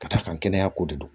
Ka d'a kan kɛnɛya ko de do